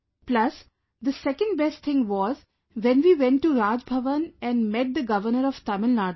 Plus the second best thing was when we went to Raj Bhavan and met the Governor of Tamil Nadu